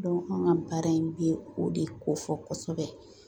an ka baara in bi o de ko fɔ kɔsɛbɛ